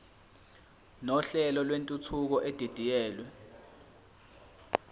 nohlelo lwentuthuko edidiyelwe